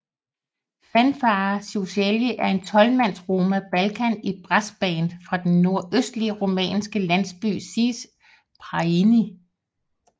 Fanfare Ciocărlia er et tolvmands roma Balkan brassband fra den nordøstlige rumænske landsby Zece Prăjini